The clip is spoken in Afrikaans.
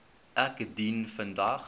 ek dien vandag